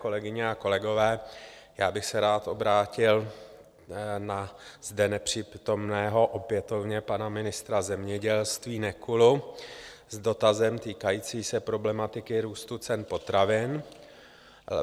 Kolegyně a kolegové, já bych se rád obrátil na zde nepřítomného opětovně pana ministra zemědělství Nekulu s dotazem týkajícím se problematiky růstu cen potravin.